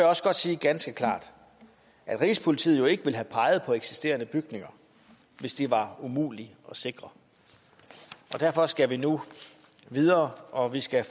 også godt sige ganske klart at rigspolitiet jo ikke ville have peget på eksisterende bygninger hvis de var umulige at sikre derfor skal vi nu videre og vi skal